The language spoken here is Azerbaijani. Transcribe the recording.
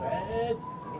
Bəyən!